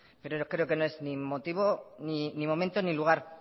pero creo que no es ni momento ni lugar